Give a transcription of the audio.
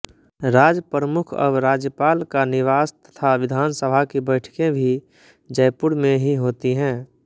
राजप्रमुख अब राज्यपाल का निवास तथा विधानसभा की बैठकें भी जयपुर में ही होती हैं